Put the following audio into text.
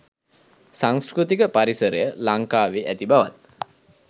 සංස්කෘතික පරිසරය ලංකාවේ ඇති බවත්